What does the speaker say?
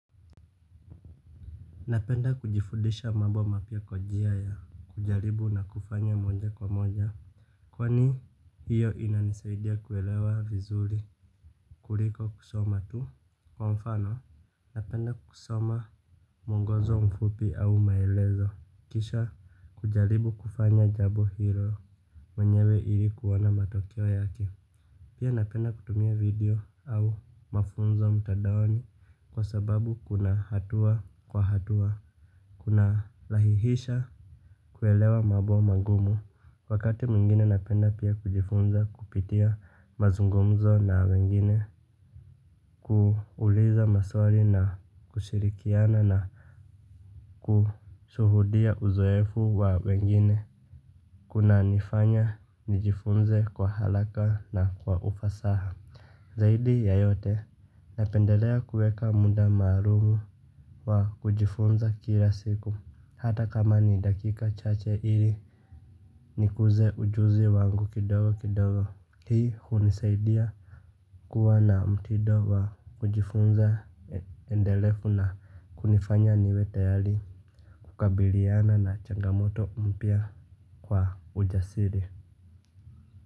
Napenda kujifudisha mambo mapya kwa njia ya kujaribu na kufanya moja kwa moja. Kwani hiyo inanisaidia kuelewa vizuri kuliko kusoma tu kwa mfano. Napenda kusoma mwongozo mfupi au maelezo kisha kujaribu kufanya jambo hilo mwenyewe ili kuona matokeo yake. Pia napenda kutumia video au mafunzo mtandaoni kwa sababu kuna hatua kwa hatua. Kuna lahihisha kuelewa mambo magumu. Wakati mwingine napenda pia kujifunza kupitia mazungumzo na wengine. Kuuliza maswali na kushirikiana na kushuhudia uzoefu wa wengine. Kuna nifanya nijifunze kwa haraka na kwa ufasaha. Zaidi ya yote napendelea kuweka muda maalumu wa kujifunza kila siku hata kama ni dakika chache ili nikuze ujuzi wangu kidogo kidogo. Hii hunisaidia kuwa na mtindo wa kujifunza endelevu na kunifanya niwetayari kukabiliana na changamoto mpya kwa ujasiri.